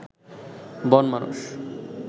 বন মানুষ